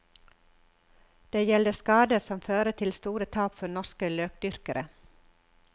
Det gjelder skader som fører til store tap for norske løkdyrkere.